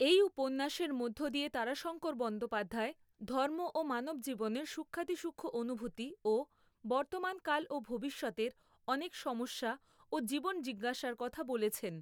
এই উপন্যাসের মধ্য দিয়ে তারাশঙ্কর বন্দ্যোপাধ্যায় ধর্ম ও মানবজীবনের সূক্ষ্মাতিসূক্ষ্ম অনুভূতি ও বর্তমান কাল ও ভবিষ্যতের অনেক সমস্যা ও জীবন জিজ্ঞাসার কথা বলেছেন।